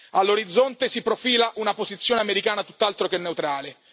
All'orizzonte si profila una posizione americana tutt'altro che neutrale.